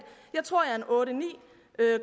jeg tror at jeg otte ni